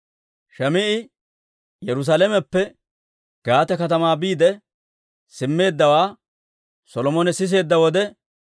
Shim"i Yerusaalameppe Gaate katamaa biide simmeeddawaa Solomone siseedda wode,